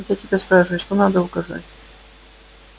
вот я тебя спрашиваю что надо указать